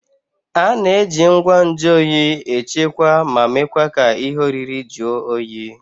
A na-eji ngwa nju oyi echekwaa ma mekwa ka ihe oriri jụọ oyi